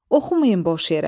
"Oxumayın boş yerə.